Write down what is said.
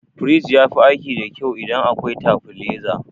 Firij yafi aiki da kyau idan akwai tabileza.